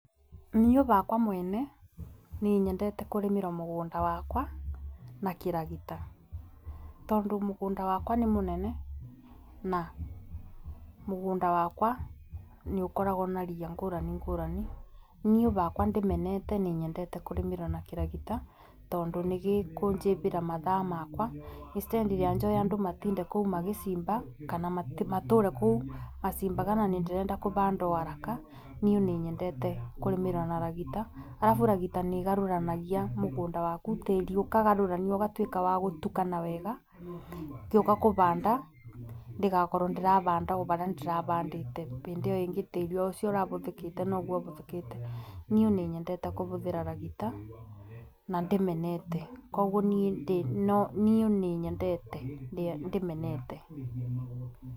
Niĩ bakwa mwene nĩ nyendete kũrĩmĩra mũgũnda wakwa na kĩragita, tondũ mũgũnda wakwa nĩ mũnene na mũgũnda wakwa nĩ ũkoragwo na ria ngũrani ngũrani. Niĩ bakwa ndimenete nĩ nyendete kũrĩmĩrea na kĩragita tondũ nĩgĩkũnjĩbĩra mathaa makwa instead ya njoe andũ matinde kũu magĩcimba kana matũre kũu macimbaga na niĩ nĩ ndĩrenda kũbanda o haraka niĩ nĩ nyendete kũrĩmĩra na ragita. Arabu ragita nĩ ĩgarũranagia mũgũnda waku tĩri ũkagarũraniuo ũgatuĩka wa gũtukana wega, ngĩũka kũbanda ndigakorwo ndĩrabanda o barĩa ndĩrabandĩte bĩndĩ ĩyo ĩngĩ tĩri ũcio ũrabũthĩkĩte noguo ũbũthĩkĩte. Niĩ nĩ nyendete kũbũthĩra ragita na ndimenete koguo niĩ nĩ nyendete ndimenete.